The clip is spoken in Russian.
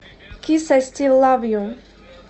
кис ай стил лав ю